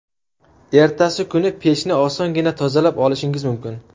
Ertasi kuni pechni osongina tozalab olishingiz mumkin.